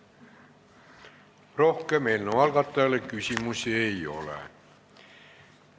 Rohkem eelnõu algatajale küsimusi ei ole.